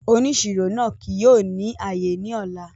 Òníṣírò náà kìí yóò ní ayé ní ọlá